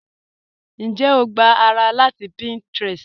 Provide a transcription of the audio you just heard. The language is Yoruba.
Ǹjẹ́ o gbà ará láti Pinterest?